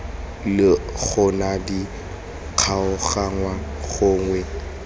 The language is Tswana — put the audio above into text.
le gona di kgaoganngwe gonwe